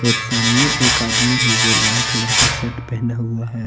और सामने एक आदमी है जो लाल कलर का शर्ट पहना हुआ है।